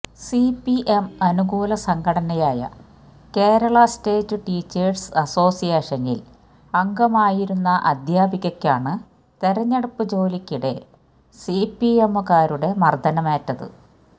CPM അനുകൂല സംഘടനയായ Kerala state teachers അസോസിയേഷനില് അംഗമായിരുന്ന അദ്ധ്യാപികയ്ക്കാണ് തെരഞ്ഞെടുപ്പ് ജോലിക്കിടെ സിപിഎമ്മുകാരുടെ മര്ദ്ദനമേറ്റത്